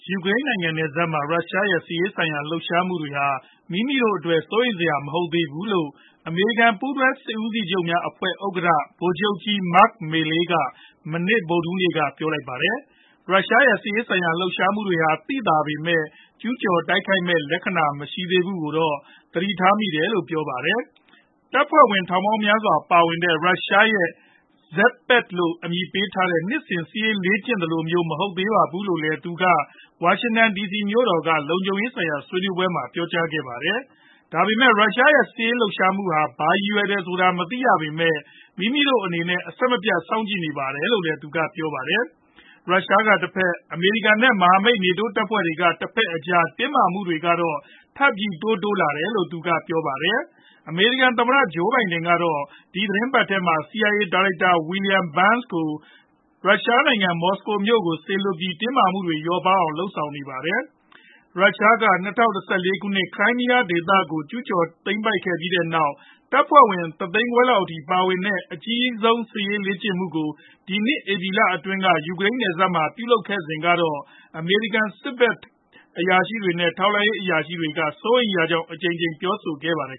ယူကရိန်နိုင်ငံနယ်စပ်မှာ ရုရှားရဲ့ စစ်ရေးဆိုင်ရာ လှုပ်ရှားမှုတွေဟာ မိမိတို့အတွက် စိုးရိမ်စရာမဟုတ်သေးဘူးလို့ အမေရိကန် ပူးတွဲစစ်ဦးစီးချုပ်များအဖွဲ့ ဥက္ကဌ ဗိုလ်ချုပ်ကြီး Mark Milley က မနေ့ ဗုဒ်ဓဟူးနေ့က ပြောပါတယ်။ ရုရှားရဲ့စစ်ရေးဆိုင်ရာ လှုပ်ရှားမှုတွေဟာ သိသာပေမယ့် ကျူးကျော်တိုက်ခိုက်မဲ့လက္ခဏာမရှိတာကိုတော့ သတိထားမိပါတယ်လို့လည်းပြောပါတယ်။ တပ်ဖွဲ့ဝင် ထောင်ပေါင်များစွာပါဝင်တဲ့ ရုရှားရဲ့ Zapad လို့အမည်ပေးထားတဲ့ နှစ်စဉ်စစ်ရေးလေ့ကျင့်သလိုမျိုး မဟုတ်ပါဘူးလို့လည်း သူက ဝါရှင်တန်ဒီစီမြို့က လုံခြုံရေးဆိုင်ရာဆွေးနွေးပွဲမှာ ပြောကြားခဲ့ပါတယ်။ ဒါပေမယ့် ရုရှားရဲ့ စစ်ရေးလှုပ်ရှားမှုဟာ ဘာရည်ရွယ်တယ်ဆိုတာကို မသိရသေးပေမယ် မိမိတို့အနေနဲ့ အဆက်မပြတ်စောင့်ကြည့်နေပါတယ်လို့သူကပြောပါတယ်။ ရုရှားကတဖက် အမေရိကန် နဲ့ မဟာမိတ်နေတိုးတပ်ဖွဲ့တွေက တဖက် အကြား တင်းမာမှုတွေကတော့ ထပ်မံပြီး တိုးလာနေတယ်လို့လည်း သူကပြောပါတယ်။ အမေရိကန် သမ္မတ ဂျိုးဘိုင်ဒန် ကတော့ ဒီသီတင်းပတ်ထဲက CIA ဒါရိုက်တာ William Burns ကို ရုရှားနိုင်ငံ မော်စကိုမြို့တော်ကို စေလွှတ်ပြီး တင်းမာမှုတွေလျော့ပါးအောင် လုပ်ဆောင်ခဲ့ပါတယ်။ ရုရှားက ၂ဝ၁၄ခုနှစ် Crimea ဒေသကို ကျူးကျော်သိမ်းပိုက်ခဲ့ပြီးနောက် တပ်ဖွဲ့ဝင်တသိန်းခွဲလောက်ပါဝင်တဲ့ အကြီးဆုံးစစ်ရေးလေ့ကျင်မှုကို ဒီနှစ်ဧပြီလအတွင်းက ယူကရန်နယ်စပ်မှာ ပြုလုပ်ခဲ့စဉ်ကတော့ အမေရိကန် စစ်ဖက် နဲ့ ထောက်လှမ်းရေးအရာရှိတွေက စိုးရိမ်ရကြောင်း အကြိမ်ကြိမ်ပြောဆိုခဲ့ကြပါတယ်